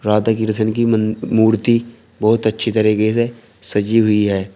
राधा कृष्ण की म मूर्ति बहुत अच्छी तरीके से सजी हुई है।